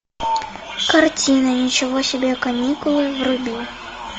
картина ничего себе каникулы вруби